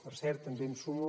per cert també em sumo